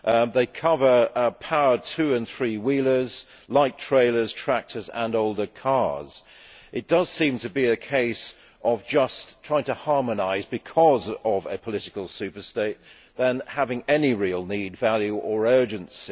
They cover powered two and three wheelers, light trailers, tractors and older cars. It does seem to be a case of just trying to harmonise because of a political super state, rather than because of any real need, value or urgency.